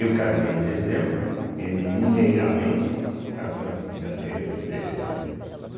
Eu casei em dezembro, ele mineiramente casou em janeiro, fevereiro, né.